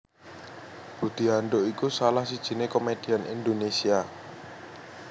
Budi Anduk iku salah sijiné komedian Indonesia